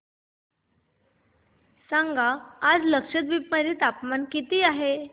सांगा आज लक्षद्वीप मध्ये तापमान किती आहे